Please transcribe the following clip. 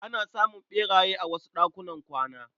Ana samun ɓeraye a wasu ɗakunan kwana.